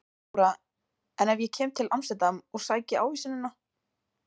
Þóra: En ef ég kem til Amsterdam og sæki ávísunina?